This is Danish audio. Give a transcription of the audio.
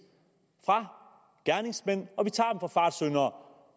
fra gerningsmænd og vi tager dem fra fartsyndere